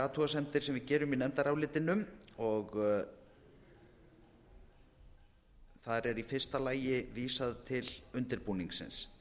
athugasemdir sem við gerum í nefndarálitinu þar er í fyrsta lagi vísað til undirbúningsins